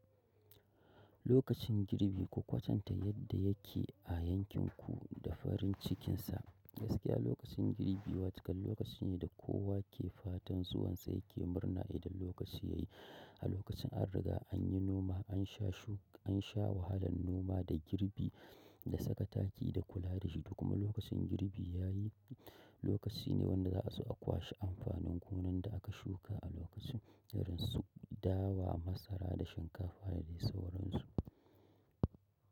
Lokacin girbi ku kwatanta yadda yake a yankin ku da farin cikin sa. Gaskiya lokacin girbi wato kam lokaci ne da kowa ke fatan zuwan sa yake murna idan lokaci yayi a lokacin an riga an yi noma, an sha shuki an sha wahalan noma da girbi, da saka taki da kula da shi, kuma lokacin girbi ya yi. Lokaci ne wanda za a zo akwashi amfanin gonan da aka shuka a lokacin, irin su dawa, masara, da shinkafa da dai sauransu.